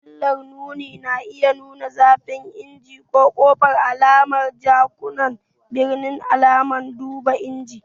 Fitilar nuni na iya nuna zafin injin, kofa, alamar jakunkuna, birki, alamar duba inji.